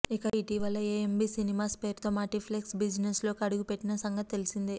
ఇక ఇటీవల AMB cinemas పేరుతో మల్టిప్లెక్స్ బిజినెస్లోకి అడుగుపెట్టిన సంగతి తెలిసిందే